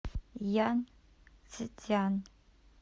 янцзян